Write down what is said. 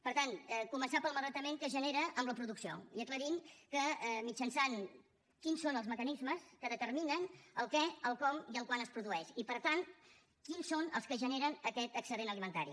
per tant començar pel malbaratament que es genera en la producció i aclarint quins són els mecanismes que determinen el què el com i el quan es produeix i per tant quins són els que generen aquest excedent alimentari